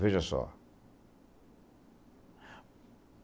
Veja só.